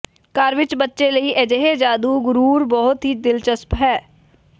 ਘਰ ਵਿਚ ਬੱਚੇ ਲਈ ਅਜਿਹੇ ਜਾਦੂ ਗੁਰੁਰ ਬਹੁਤ ਹੀ ਦਿਲਚਸਪ ਹੈ